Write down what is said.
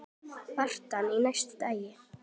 Birtan á næsta degi.